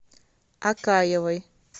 акаевой